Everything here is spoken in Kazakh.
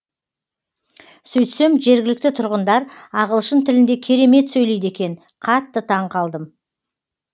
сөйтсем жергілікті тұрғындар ағылшын тілінде керемет сөйлейді екен қатты таңқалдым